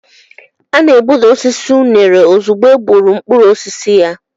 A na-egbuda osisi unere ozugbo e gbuuru mkpụrụ osisi ya.